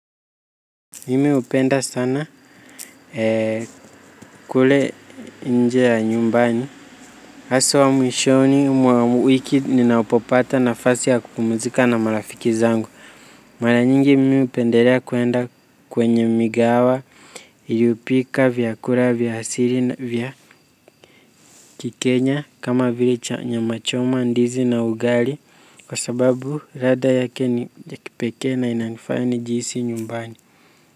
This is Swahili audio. Mimi hupenda sana kule nje ya nyumbani haswa mwishoni mwa wiki ninapopata nafasi ya kupumzika na marafiki zangu mara nyingi mimi hupendelea kuenda kwenye migawa iliyopika vyakula vya hasili vya kikenya kama vili nyama choma, ndizi na ugali kwa sababu ladha yake ni ya kipekee na inanifanya nijihisi nyumbani.